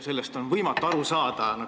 Sellest on võimatu aru saada.